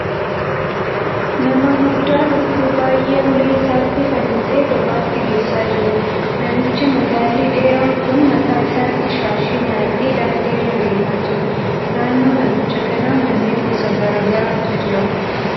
Nama guddaa lukkuu baay'ee ulee isaatti fannisee gabaatti geessaa jiruudha. Namichi magaalli dheeraan kun mataa isaatti shaashii maratee daandii irra deemaa jira. Naannoo namicha kanaa manneen gosa garaa garaatu jira.